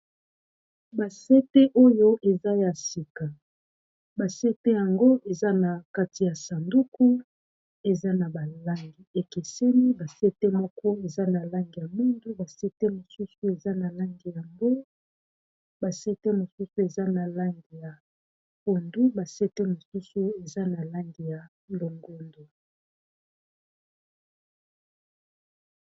Ba sete oyo eza ya sika basete yango eza na kati ya sanduku eza na balangi ekeseni basete moko eza na langi ya mondu basete mosusu eza na lande ya mbo basete mosusu eza na landi ya pondu basete mosusu eza na landi ya longondu